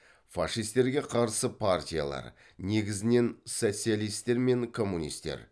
фашистерге қарсы партиялар